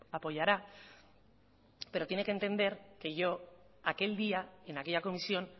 apoyará pero tiene que entender que yo aquel día en aquella comisión